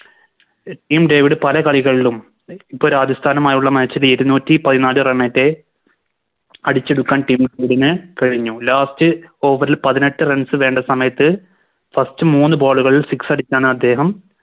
Tim David പല കളികളിലും ഇപ്പോൾ രാജസ്ഥാനുമായുള്ള Match ൽ ഇരുനൂറ്റി പതിനാല് Run റ്റെ അടിച്ചെടുക്കാൻ Team ന് കഴിഞ്ഞു Last over ൽ പതിനെട്ട് Runs വേണ്ട സമയത്ത് First മൂന്ന് Ball കൾ Six അടിച്ചാണദ്ദേഹം